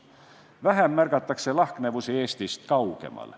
Vähem märgatakse lahknevusi Eestist kaugemal.